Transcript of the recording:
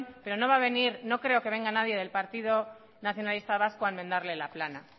pero no va a venir o no creo que venga nadie del partido nacionalista vasco a enmendarle la plana